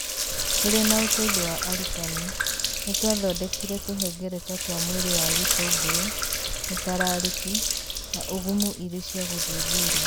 .Tũrĩ na ũteithio wa arutani, nĩ twathondekire tũhengereta twa mwĩrĩ wa gĩtũngũrũ, mũtararĩki, na ũgumu irĩ cia gũthuthuria.